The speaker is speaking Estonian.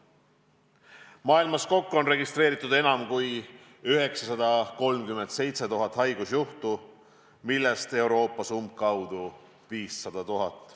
Maailmas kokku on registreeritud enam kui 937 000 haigusjuhtu, millest Euroopas umbes 500 000.